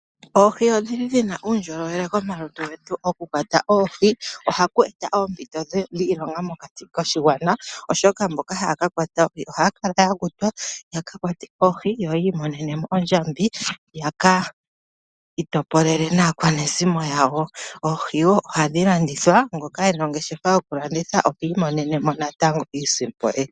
Oohi odhi li dhi na uundjolowele komalutu getu. Okukwata oohi ohaku eta oompito dhiilonga mokati koshigwana, oshoka mboka haya ka kwata oohi ohaya kala ya kutwa, ya ka kwate oohi, yo yi imonene mo ondjambi ya ka itopolele naakwanezimo yawo. Oohi wo ohadhi landithwa, ngoka e na ongeshefa yokulanditha ohi imonene mo natango iisimpo ye.